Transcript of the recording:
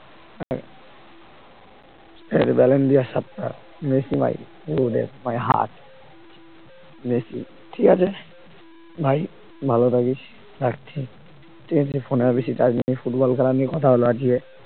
ঠিকাছে ব্যালেন্টিয়ার সাতটা মেসি মাইরি গুরুদেব my heart মেসি ঠিক আছে ভাই ভালো থাকিস। রাখছি, ঠিক আছে phone এ আর বেশি charge নেই, ফুটবল খেলা নিয়ে কথা হলো আজকে